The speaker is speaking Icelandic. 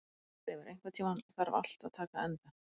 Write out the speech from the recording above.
Kristleifur, einhvern tímann þarf allt að taka enda.